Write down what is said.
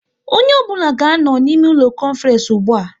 Onye ọ bụla ga anọ n' ime ụlọ konference ụgbụa!